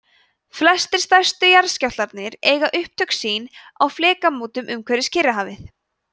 flestir stærstu jarðskjálftarnir eiga upptök sín á flekamótum umhverfis kyrrahafið